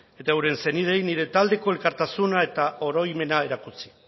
eta euren senideei nire taldeko elkartasuna eta oroimena erakutsi